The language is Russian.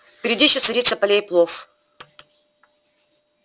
впереди ещё царица полей плов